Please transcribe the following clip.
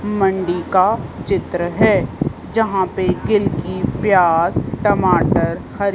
मंडी का चित्र है जहां पे कीलकी प्यास टमाटर हरी--